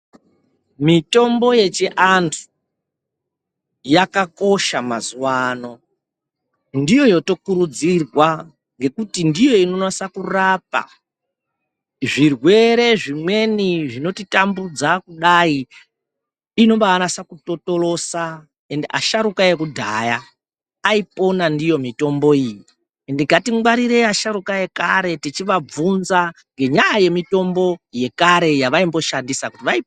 Mitombo yechiantu yakakosha mazuvaano ndiyo yotokurudzirwa ngekuti ndiyo inonasa kurapa zvirwere zvimweni zvinotitambudza kudayi inobaanasa kutotorosa ende ashuka ekudhaya aipona ndiyo mitombo iyi ngatingwarire asharukwa ekare tichivabvunza ngenyaya yemitombo yekare yavaimboshandisa vai.